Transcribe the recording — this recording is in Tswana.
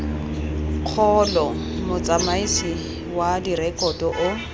kgolo motsamaisi wa direkoto o